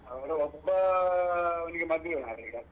ಅವರು ಒಬ್ಬಾ ಅವ್ನಿಗೆ ಮದ್ವೆ ಮಾರೆ ಈಗ.